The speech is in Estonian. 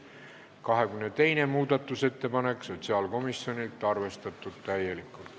22. muudatusettepanek sotsiaalkomisjonilt, arvestatud täielikult.